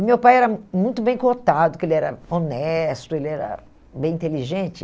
E meu pai era hum muito bem cotado, que ele era honesto, ele era bem inteligente.